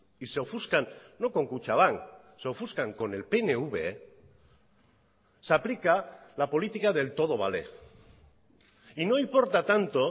y se ofuscan no con kutxabank se ofuscan con el pnv se aplica la política del todo vale y no importa tanto